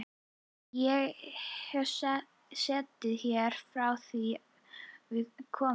Ég hef setið hér frá því að við komum.